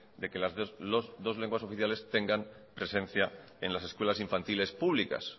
de que las dos lenguas oficiales tengan presencia en las escuelas infantiles públicas